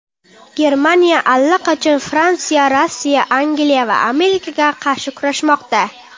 Germaniya allaqachon Fransiya, Rossiya, Angliya va Amerikaga qarshi kurashmoqda.